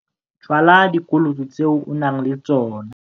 Tswala dikoloto tse o nang le tsona